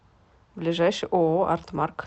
ближайший ооо артмарк